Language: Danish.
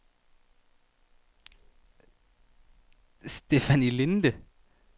Stefanie Linde